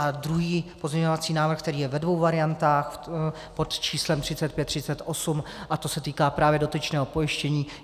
A druhý pozměňovací návrh, který je ve dvou variantách, pod číslem 3538, a to se týká právě dotyčného pojištění;